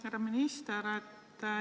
Härra minister!